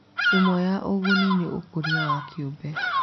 Ĩmwe ya ũguni nĩ ũkũria wa kĩũmbe.